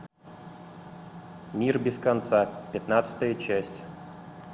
мир без конца пятнадцатая часть